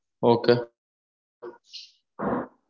okay